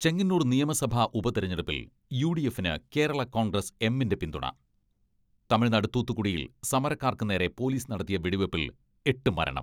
ചെങ്ങന്നൂർ നിയമസഭാ ഉപതെരഞ്ഞെടുപ്പിൽ U D എഫിന് കേരള കോൺഗ്രസ് എമ്മിന്റെ പിന്തുണ, തമിഴ്നാട് തൂത്തുകുടിയിൽ സമരക്കാർക്ക് നേരെ പോലീസ് നടത്തിയ വെടിവെപ്പിൽ എട്ട് മരണം.